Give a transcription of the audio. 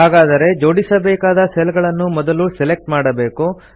ಹಾಗಾದರೆ ಜೋಡಿಸಬೇಕಾದ ಸೆಲ್ ಗಳನ್ನು ಮೊದಲು ಸೆಲೆಕ್ಟ್ ಮಾಡಬೇಕು